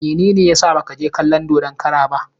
Mene ne ya sa ba ka je kalon dodon kara ba?